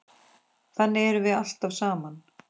Þannig erum við alltaf saman.